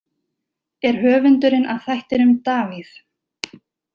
Er höfundurinn að þættinum Davíð?